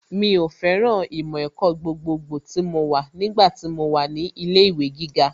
Mi ò fẹ́ràn ìmọ̀ ẹ̀kọ́ gbogbogbò tí mo wà nígbà tí mo wà ní ilé ìwé gíga